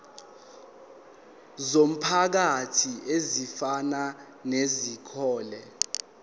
zomphakathi ezifana nezikole